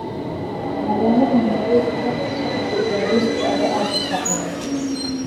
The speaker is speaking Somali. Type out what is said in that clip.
magaalada nairobi heerka socodka gaadiidka ayaa aad u sareeya